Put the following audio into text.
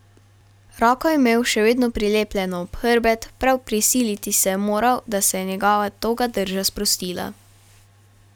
Roko je imel še vedno prilepljeno ob hrbet, prav prisiliti se je moral, da se je njegova toga drža sprostila.